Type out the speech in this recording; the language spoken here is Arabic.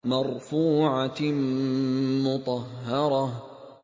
مَّرْفُوعَةٍ مُّطَهَّرَةٍ